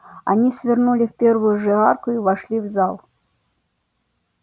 они свернули в первую же арку и вошли в зал